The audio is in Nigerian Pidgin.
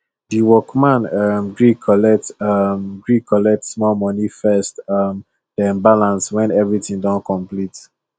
the workman um gree collect um gree collect um small money first um then balance when everything don complete